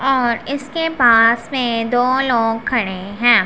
और इसके पास मे दो लोग खड़े हैं।